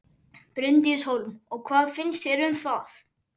Bryndís Hólm: Og hvað finnst þér um það?